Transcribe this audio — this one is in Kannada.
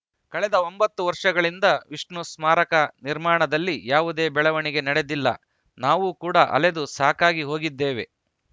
ಕಳೆದ ಒಂಬತ್ತು ವರ್ಷಗಳಿಂದ ವಿಷ್ಣು ಸ್ಮಾರಕ ನಿರ್ಮಾಣದಲ್ಲಿ ಯಾವುದೇ ಬೆಳವಣಿಗೆ ನಡೆದಿಲ್ಲ ನಾವು ಕೂಡ ಅಲೆದು ಸಾಕಾಗಿ ಹೋಗಿದ್ದೇವೆ